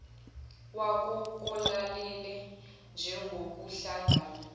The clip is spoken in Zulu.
wako kolalele njengokuhlangana